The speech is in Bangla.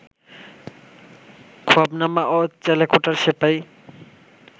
খোয়াবনামা ও চেলেকোঠার সেপাই